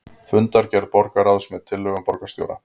Fundargerð borgarráðs með tillögum borgarstjóra